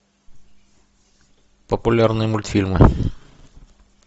популярные мультфильмы